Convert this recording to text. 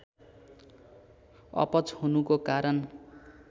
अपच हुनुको कारण